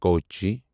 Kochi